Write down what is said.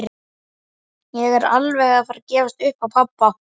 Síra Marteinn sá Hólabiskupi sjaldan bregða fyrir.